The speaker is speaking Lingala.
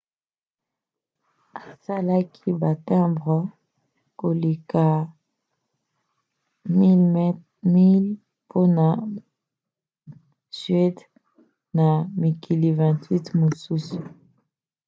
asalaki batimbre koleka 1 000 mpona suède na mikili 28 mosusu